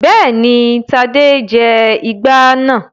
Bẹ́ẹ̀ni, Tadé jẹ ìgbá náà.